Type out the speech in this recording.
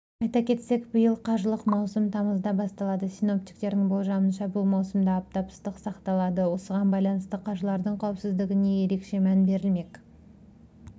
айта кетсек биыл қажылық маусымы тамызда басталады синоптиктердің болжамынша бұл маусымда аптап ыстық сақталады осыған байланысты қажылардың қауіпсіздігіне ерекше мән берілмек